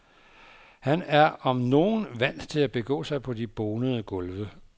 Han er om nogen vant til at begå sig på de bonede gulve.